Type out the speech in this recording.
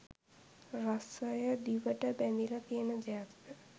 රසය දිවට බැඳිල තියෙන දෙයක්ද?